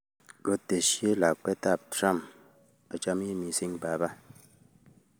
Kotesyi lakwetab Trump;''Achamin mising baba.''